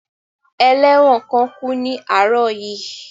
Ẹlẹ́wọ̀n kan kú ní àárọ̀ yìí